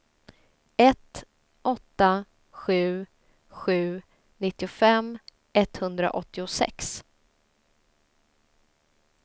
ett åtta sju sju nittiofem etthundraåttiosex